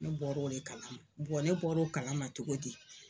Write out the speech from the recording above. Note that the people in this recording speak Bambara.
Ne bɔra o le kalama ne bɔra o kalama cogo di.